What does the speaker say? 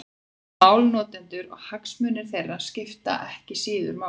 Málnotendurnir og hagsmunir þeirra skipta ekki síður máli.